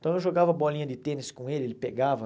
Então eu jogava bolinha de tênis com ele, ele pegava.